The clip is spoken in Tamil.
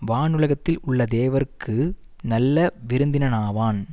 வானுலகத்தில் உள்ள தேவர்க்கு நல்ல விருந்தினனாவான்